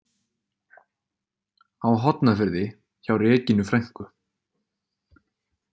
Á Hornafirði hjá Regínu frænku.